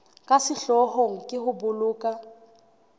ka sehloohong ke ho boloka